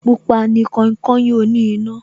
Pupa ni kainkain oní iná